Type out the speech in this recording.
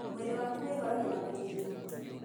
Mwĩrĩ waku wĩhoragia na gũthigina.